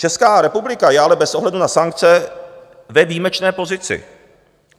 Česká republika je ale bez ohledu na sankce ve výjimečné pozici.